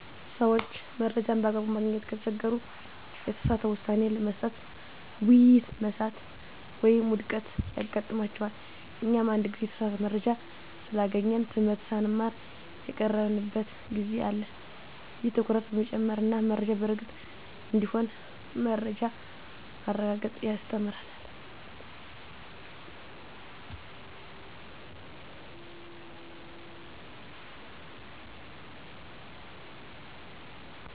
ሰዎች መረጃን በአግባቡ ማግኘት ከተቸገሩ፣ የተሳሳተ ውሳኔ መስጠት፣ ውይይት መሳሳት ወይም ውድቀት ያጋጥማቸዋል። እኛም አንድ ጊዜ የተሳሳተ መረጃ ስላገኘን ትምህርት ሳንማር የቀረንበት ጊዜ አለ። ይህ ትኩረት በመጨመር እና መረጃ በእርግጥ እንዲሆን በመረጃ ማረጋገጥ ያስተምረናል።